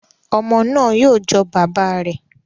Ọmọ náà yóò jọ bàbá rẹ